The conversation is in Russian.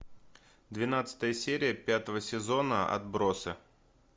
двенадцатая серия пятого сезона отбросы